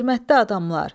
Hörmətli adamlar.